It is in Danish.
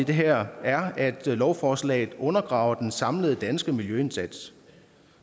her er at lovforslaget undergraver den samlede danske miljøindsats